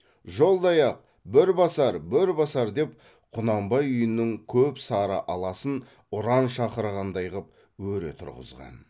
жолдаяқ бөрбасар бөрбасар деп құнанбай үйінің көп сары аласын ұран шақырғандай ғып өре тұрғызған